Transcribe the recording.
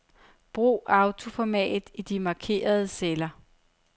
Brug autoformat i de markerede celler.